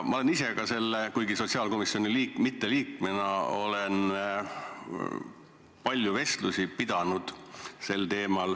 Ma olen ise ka – küll mitte sotsiaalkomisjoni liikmena – sel teemal palju vestlusi pidanud.